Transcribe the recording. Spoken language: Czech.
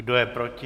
Kdo je proti?